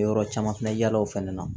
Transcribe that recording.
Yɔrɔ caman fana yala o fana na